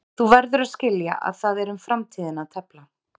Þú verður að skilja að það er um framtíðina að tefla.